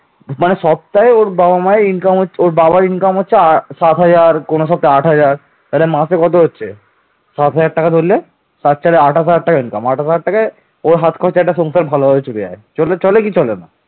একারণে পাল শিলালিপিতে বরেন্দ্রকে জনকভূ বা রাজ্যাম পিত্রাম বলা হয়েছে